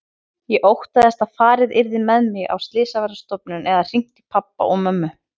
Ég óttaðist að farið yrði með mig á slysavarðstofuna eða hringt í pabba og mömmu.